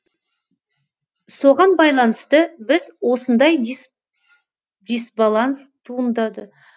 соған байланысты біз осындай дисбаланс туындады